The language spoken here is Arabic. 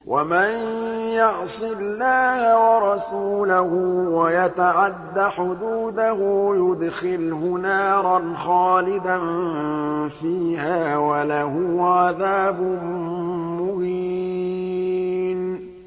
وَمَن يَعْصِ اللَّهَ وَرَسُولَهُ وَيَتَعَدَّ حُدُودَهُ يُدْخِلْهُ نَارًا خَالِدًا فِيهَا وَلَهُ عَذَابٌ مُّهِينٌ